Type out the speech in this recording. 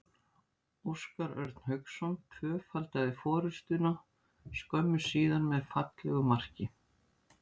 Óskar Örn Hauksson tvöfaldaði forystuna skömmu síðar með fallegu marki.